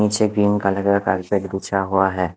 नीचे green colour का carpet बिछा हुआ है।